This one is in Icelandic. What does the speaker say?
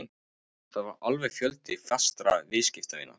Það var alveg fjöldi fastra viðskiptavina